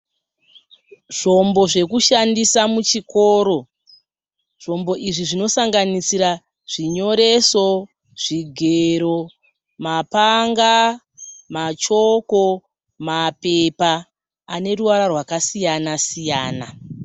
Zvombo zvekushandisa muchikoro. Zvombo izvi zvinosanganisira zvinyoreso, zvigero, mapanga, machoko, mapepa ane ruvara rwakasiyana siyana.